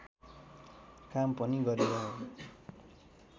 काम पनि गरिरहे